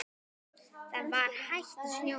Það var hætt að snjóa.